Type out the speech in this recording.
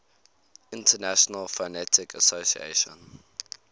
international phonetic association